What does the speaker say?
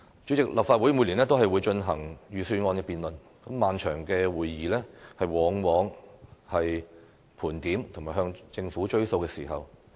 主席，立法會每年都進行預算案辯論，漫長的會議往往是盤點及要求政府兌現承諾的時候。